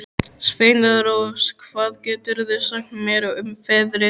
Sveinrós, hvað geturðu sagt mér um veðrið?